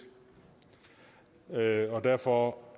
og derfor